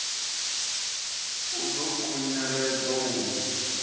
a ḓo khunyeledzwa u ya